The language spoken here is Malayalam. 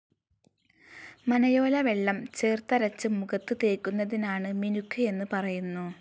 മനയോല വെള്ളം ചേർത്തരച്ച് മുഖത്ത് തേക്കുന്നതിനാണ് മിനുക്ക് എന്ന് പറയുന്നു.